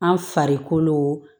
An farikolo